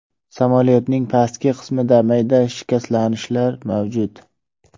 Samolyotning pastki qismida mayda shikastlanishlar mavjud.